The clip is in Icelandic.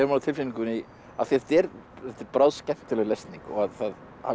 á tilfinningunni af því þetta er bráðskemmtileg lesning að það